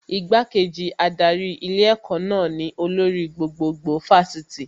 Igbá-kejì adarí ilé ẹ̀kọ́ náà ni olórí gbogbogbò Fásitì